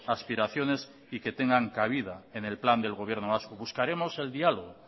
aspiraciones y que tengan cabida en el plan del gobierno vasco buscaremos el diálogo